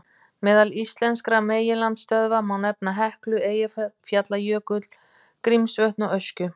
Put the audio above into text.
Meðal íslenskra megineldstöðva má nefna Heklu, Eyjafjallajökul, Grímsvötn og Öskju.